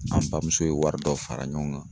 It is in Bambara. An bamuso ye wari dɔ fara ɲɔgɔn kan